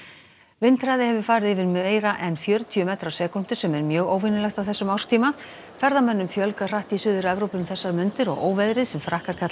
vindhraði hefur farið yfir meira en fjörutíu metra á sekúndu sem er mjög óvenjulegt á þessum árstíma ferðamönnum fjölgar hratt í Suður Evrópu um þessar mundir og óveðrið sem Frakkar kalla